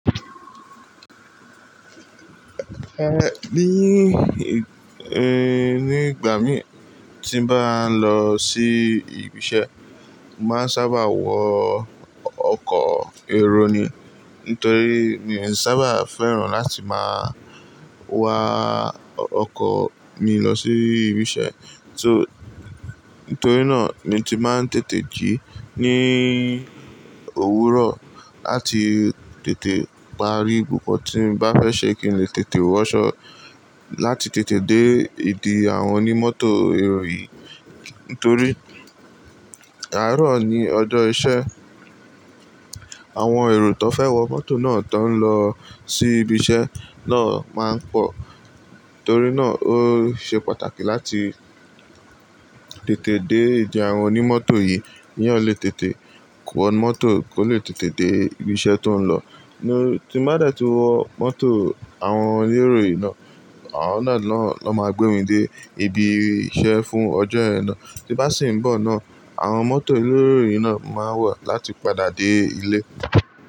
Ehn, ní, ehn, nígbà mí tí n bá ń lọ sí ibi iṣẹ́, màá sábà wọ ọkọ̀ èrò ni. Nítorí mi ò sábà fẹ́ràn láti máa wa ọkọ̀ mi lọ sí ibi iṣẹ́. So nítorí náà ni tí màá ń tètè jí ní òwúrọ̀ láti tètè parí gbogbo tí n bá fẹ́ ṣe kí èmi lè tètè wọṣọ láti tètè dé ìdí àwọn onímọ́tò èrò yìí. Nítorí àárọ̀ ní ọjọ́ iṣẹ́, àwọn èrò tó fẹ́ wọ mọ́tò náà tó ń lọ sí ibi iṣẹ́ náà máa ń pọ̀. Nítorí náà ó ṣe pàtàkì láti tètè dé ìdí àwọn onímọ́tò yìí kí wọ́n lè tètè wó mọ́tò kó lè tètè dé ibi iṣẹ́ tó ń lọ. Ni tí mo bá dẹ̀ tí wọ mọ́tò àwọn onímọ́tò èrò yìí náà, àwọn náà ló máa gbé mi dé ibi iṣẹ́ fún ọjọ́ yẹn na. Tí bá sì ń bọ̀ náà, àwọn mọ́tò elerò yìí náà máa wà láti padà dé ilé.